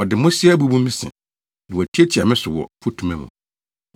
Ɔde mmosea abubu me se; na watiatia me so wɔ mfutuma mu.